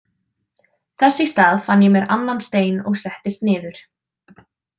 Þess í stað fann ég mér annan stein og settist niður.